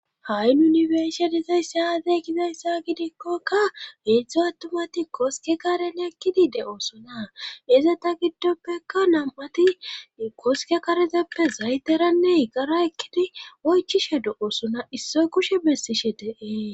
Ha7i nu be'ishe dizayssi aazee gizayssa gidikkokka heedzdzo attumati koske karene ekkidi de7oosona ezeta giddoppeka nam7ati koske karezeppe zayteranne yigara ekkidi oychishe do7osona issoy kushe bessishe deees